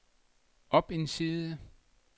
op en side